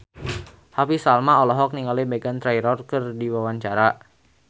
Happy Salma olohok ningali Meghan Trainor keur diwawancara